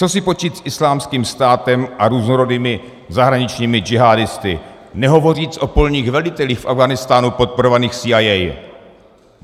Co si počít s Islámským státem a různorodými zahraničními džihádisty, nehovoře o polních velitelích v Afghánistánu podporovaných SIA?